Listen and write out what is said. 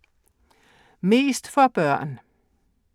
Mest for børn og unge